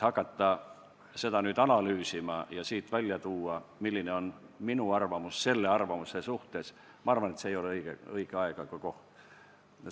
Hakata seda nüüd analüüsima ja tuua välja, milline on minu arvamus selle arvamuse suhtes – ma arvan, et see ei ole õige aeg ega koht.